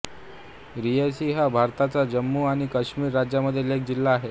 रियासी हा भारताच्या जम्मू आणि काश्मीर राज्यामधील एक जिल्हा आहे